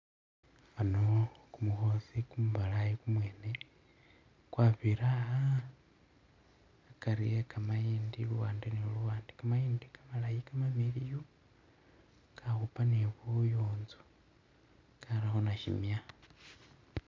Ano kumukhosi kumubalayi kumwene kwabirira a'a akari ekamayindi luwande ne luwande kamayindi kamalayi kamamiliyu kakhupa ni buyunzu karakho nasimya